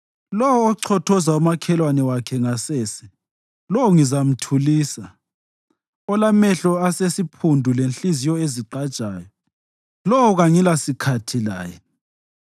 Lowo ochothoza umakhelwane wakhe ngasese, lowo ngizamthulisa; olamehlo asesiphundu lenhliziyo ezigqajayo, lowo kangilasikhathi laye.